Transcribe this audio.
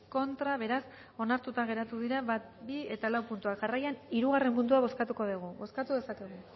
contra beraz onartuta geratu dira bat bi eta lau puntua jarraian hirugarren puntua bozkatuko dugu bozkatu dezakegu